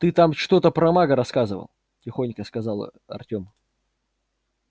ты там что-то про мага рассказывал тихонько сказал артём